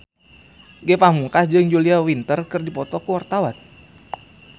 Ge Pamungkas jeung Julia Winter keur dipoto ku wartawan